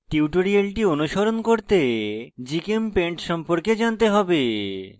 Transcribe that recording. tutorial অনুসরণ করতে gchempaint সম্পর্কে জানতে হবে